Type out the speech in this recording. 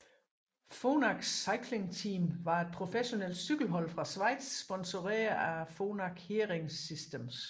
Phonak Cycling Team var et professionelt cykelhold fra Schweiz sponseret af Phonak Hearing Systems